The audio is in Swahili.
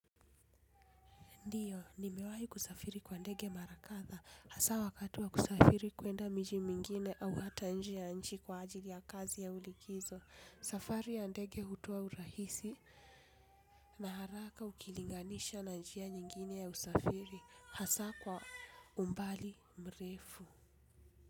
Ndiyo, nimewai kusafiri kwa ndege mara kadhaa, hasa wakati wa kusafiri kuenda miji mingine au hata nje ya nchi kwa ajili ya kazi au likizo, safari ya ndege hukua rahisi na haraka ukilinganisha na njia nyingine ya usafiri, hasa kwa umbali mrefu.